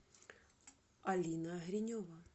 алина гринева